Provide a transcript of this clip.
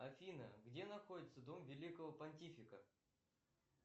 афина где находится дом великого понтифика